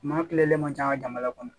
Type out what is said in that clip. Maa kilenlen man ca an ka jamana kɔnɔ